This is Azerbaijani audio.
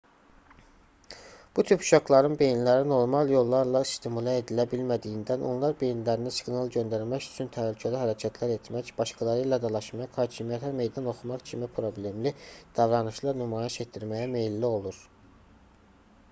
bu tip uşaqların beyinləri normal yollarla stimulə edilə bilmədiyindən onlar beyinlərinə siqnal göndərmək üçün təhlükəli hərəkətlər etmək başqaları ilə dalaşmaq hakimiyyətə meydan oxumaq kimi problemli davranışlar nümayiş etdirməyə meylli olur